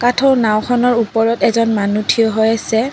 কাঠৰ নাওঁ খনৰ ওপৰত এজন মানুহ থিয় হৈ আছে।